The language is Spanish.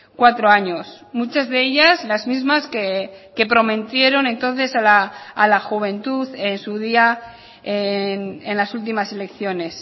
cuatro años muchas de ellas las mismas que prometieron entonces a la juventud en su día en las últimas elecciones